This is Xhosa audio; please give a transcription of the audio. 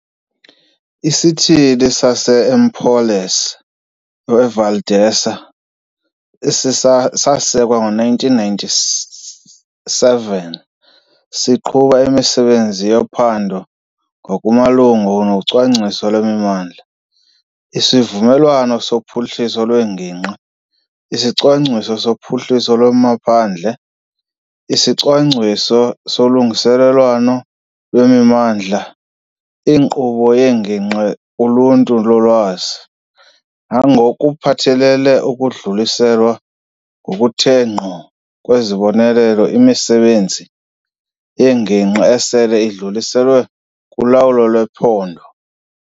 ISithili sase-Empolese Valdelsa, esasekwa ngo-1997, siqhuba imisebenzi yephondo ngokumalunga nocwangciso lwemimandla, isivumelwano sophuhliso lwengingqi, isicwangciso sophuhliso lwamaphandle, isicwangciso solungelelwaniso lwemimandla, inkqubo yengingqi kuluntu lolwazi, nangokuphathelele ukudluliselwa ngokuthe ngqo kwezibonelelo imisebenzi yengingqi esele idluliselwe kuLawulo lwePhondo.